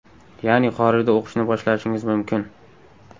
Ya’ni xorijda o‘qishni boshlashingiz mumkin.